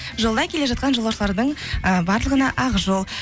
жолда келе жатқан жолаушылардың ы барлығына ақ жол